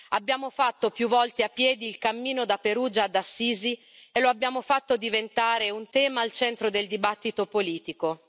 Abbiamo fatto più volte a piedi il cammino da Perugia ad Assisi, e lo abbiamo fatto diventare un tema al centro del dibattito politico.